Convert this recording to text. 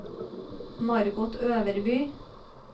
Margot Øverby